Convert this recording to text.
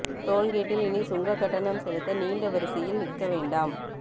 டோல்கேட்டில் இனி சுங்கக் கட்டணம் செலுத்த நீண்ட வரிசையில் நிற்க வேண்டாம்